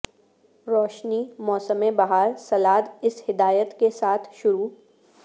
روشنی موسم بہار سلاد اس ہدایت کے ساتھ شروع